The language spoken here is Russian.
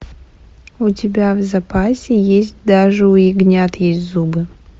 у тебя в запасе есть даже у ягнят есть зубы